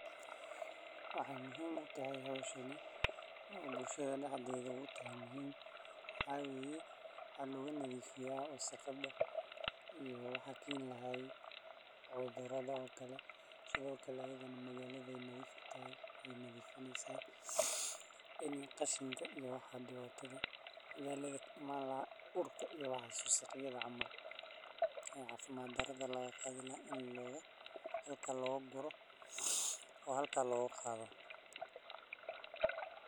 Waxa muhim utahay hoshan o bulshatha daxdethaa utahay muhim waxawaye waxa loganathifiya wasaqada iyo waxa Ken lahaa cuthuradha okale sithokale magaladha nadhif utahay eynathifineysa in qashinka iyo waxa dibatatha ah magalatha kaimanlahaa urka iyo waxa wasaqyatha cml ee cafimad marathon lagaqathilahaa in laguro oy halka logaqathoo